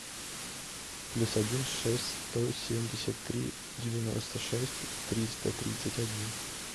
плюс один шесть сто семьдесят три девяносто шесть триста тридцать один